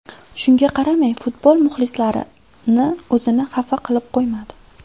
Shunga qaramay futbol muxlislarini o‘zini xafa qilib qo‘ymadi.